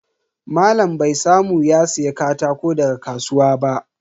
Malam bai samu ya siya katako daga kasuwa ba.